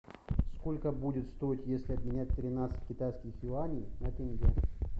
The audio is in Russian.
сколько будет стоить если обменять тринадцать китайских юаней на тенге